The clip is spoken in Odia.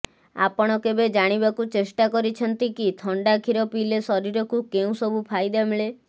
ଆପଣ କେବେ ଜାଣିବାକୁ ଚେଷ୍ଟା କରିଛନ୍ତି କି ଥଣ୍ଡା କ୍ଷୀର ପିଇଲେ ଶରୀରକୁ କେଉଁ ସବୁ ଫାଇଦା ମିଳେ